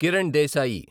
Kiran Desai